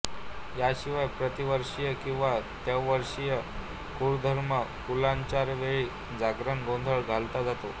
याशिवाय प्रतिवार्षिक किंवा त्रैवार्षिक कुळधर्म कुलाचारावेळी जागरण गोंधळ घातला जातो